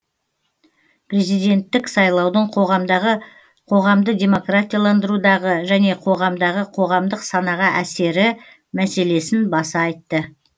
президенттік сайлаудың қоғамдағы қоғамды демократияландырудағы және қоғамдағы қоғамдық санаға әсері мәселесін баса айтты